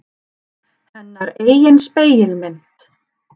Hennar eigin spegilmynd.